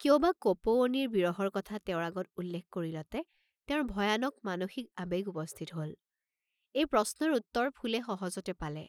কিয় বা কপৌৱনীৰ বিৰহৰ কথা তেওঁৰ আগত উল্লেখ কৰিলতে তেওঁৰ ভয়ানক মানসিক আবেগ উপস্থিত হল, এই প্ৰশ্নৰ উত্তৰ ফুলে সহজতে পালে।